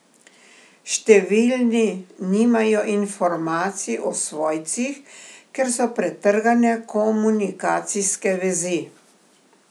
Številni nimajo informacij o svojcih, ker so pretrgane komunikacijske vezi.